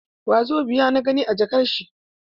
Wasobiya na gani a jakar shi.